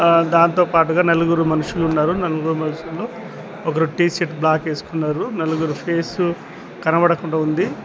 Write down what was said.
దాంతో పాటుగా నలుగురు మనుషులు ఉన్నారు నలుగురు మనుషుల్లో ఒకరు టీషీర్ట్ బ్లాక్ వేసుకున్నారు నలుగురు పేస్ కనబడకుండా ఉంది.